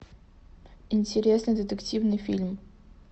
интересный детективный фильм